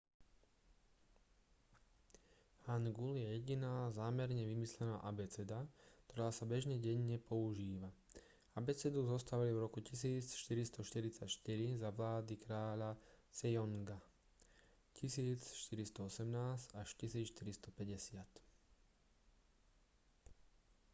hangul je jediná zámerne vymyslená abeceda ktorá sa bežne denne používa. abecedu zostavili v roku 1444 za vlády kráľa sejonga 1418 – 1450